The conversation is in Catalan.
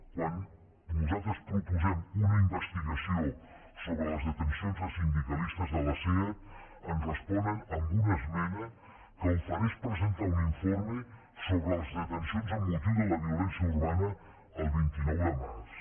quan nosaltres proposem una investigació sobre les detencions de sindicalistes de la seat ens responen amb una esmena que ofereix presentar un informe sobre les detencions amb motiu de la violència urbana el vint nou de març